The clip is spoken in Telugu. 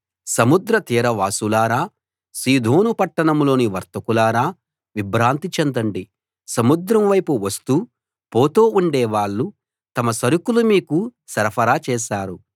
సముద్ర తీరవాసులారా సీదోను పట్టణంలోని వర్తకులారా విభ్రాంతి చెందండి సముద్రంపై వస్తూ పోతూ ఉండేవాళ్ళు తమ సరుకులు మీకు సరఫరా చేశారు